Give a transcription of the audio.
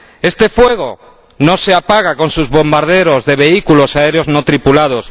Este fuego no se apaga con sus bombardeos de vehículos aéreos no tripulados.